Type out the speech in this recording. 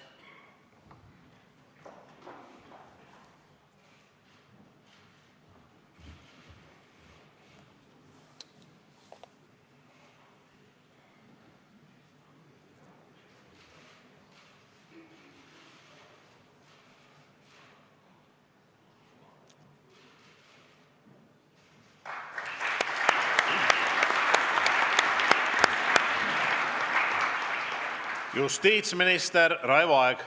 Justiitsminister Raivo Aeg.